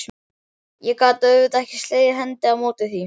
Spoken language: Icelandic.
Ég gat auðvitað ekki slegið hendi á móti því.